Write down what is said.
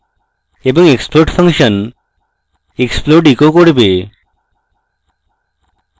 এবং explode function explode echo করবে